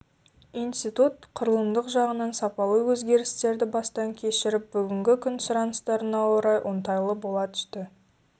институт құрылымдық жағынан сапалы өзгерістерді бастан кешіріп бүгінгі күн сұраныстарына орай оңтайлы бола түсті